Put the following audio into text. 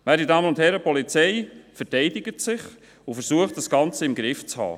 Werte Damen und Herren, die Polizei verteidigt sich und versucht, das Ganze im Griff zu haben.